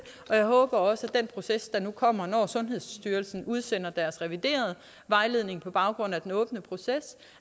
jeg håber også at den proces der nu kommer når sundhedsstyrelsen udsender deres reviderede vejledning på baggrund af den åbne proces